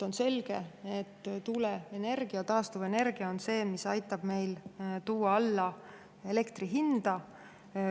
On selge, et tuuleenergia, taastuvenergia on see, mis aitab meil tuua alla elektri hinda.